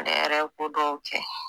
Ale yɛrɛ ye ko dɔw kɛ.